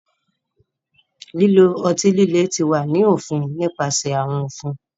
Lilo ọti-lile ti wa ni ofin nipasẹ awọn ofin.